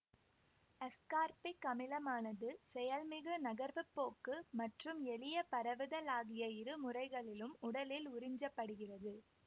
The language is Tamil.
அஸ்கார்பிக் அமிலமானது செயல்மிகு நகர்வு போக்கு மற்றும் எளிய பரவுதல் ஆகிய இரு முறைகளிலும் உடலில் உறிஞ்சப்படுகிறது